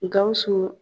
Gawusu